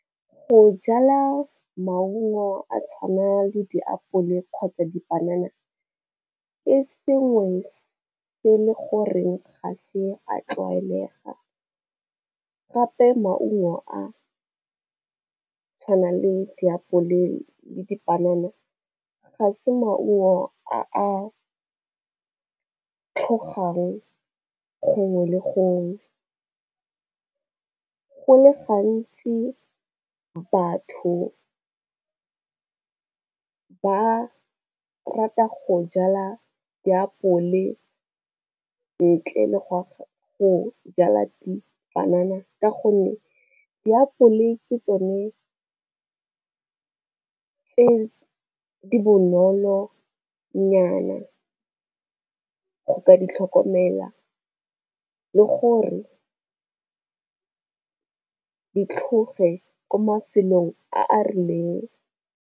Go jala maungo a tshwana le diapole kgotsa dipanana ke sengwe se e leng gore ga se a tlwaelega, gape maungo a tshwana le diapole le dipanana ga se maungo a tlhogang gongwe le gongwe. Go le gantsi batho ba rata go jala diapole ntle le go jala dipanana ka gonne diapole ke tsone e bonolo nyana go ka di tlhokomela le gore di tlhoge ko mafelong a a rileng.